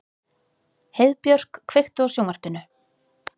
Heiðbjörk, kveiktu á sjónvarpinu.